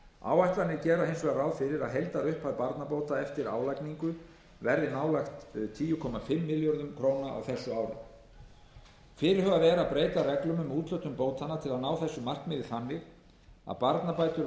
áætlanir gera hins vegar ráð fyrir að heildarupphæð barnabóta eftir álagningu verði nálægt tíu komma fimm milljörðum króna á þessu ári fyrirhugað er að breyta reglum um úthlutun bótanna til að ná þessu markmiði þannig að barnabætur vegna barna yngri